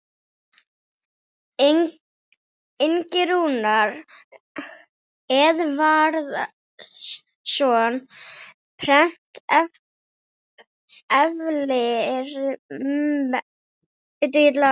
Ingi Rúnar Eðvarðsson, Prent eflir mennt.